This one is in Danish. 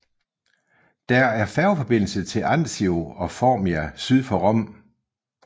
Der er færgeforbindelse til Anzio og Formia syd for Rom